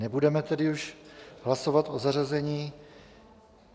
Nebudeme tedy už hlasovat o zařazení.